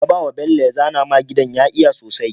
kabawa bello ya zana ma gidan ya iya sosai